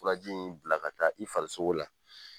Fura ji in bila ka taa i farisogo la.